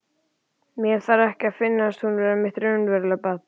Mér þarf ekki að finnast hún vera mitt raunverulega barn.